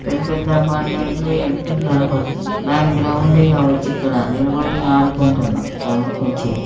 రెండు పెద్ద అపార్ట్మెంట్ లు వెనుకకి కనబడుతున్నాయి దాని గ్రౌండ్ ఏ కావచ్చు ఇక్కడ నిలబడి ఆడుకుంటున్నారు .]